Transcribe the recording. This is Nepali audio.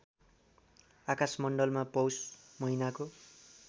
आकाशमण्डलमा पौष महिनाको